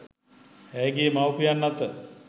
ඇයගේ මව්පියන් අත